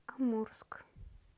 амурск